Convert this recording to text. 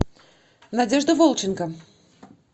надежда волченко